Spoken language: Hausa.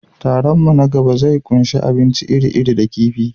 Taron mu na gaba zai ƙunshi abinci iri-iri da kifi.